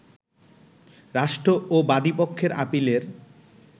রাষ্ট্র ও বাদীপক্ষের আপিলের